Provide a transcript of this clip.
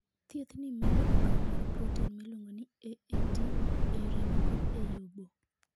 Thiethni medo okang ' mar protein miluongo ni AAT ei remo koda ei obo.